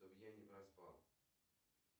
чтобы я не проспал